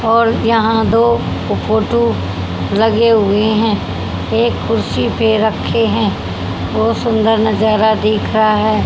और यहां दो फोटू लगे हुए हैं एक कुर्सी पे रखे हैं बहुत सुंदर नजारा दिख रहा है।